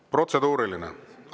Protseduuriline?